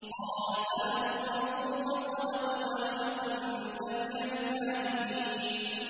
۞ قَالَ سَنَنظُرُ أَصَدَقْتَ أَمْ كُنتَ مِنَ الْكَاذِبِينَ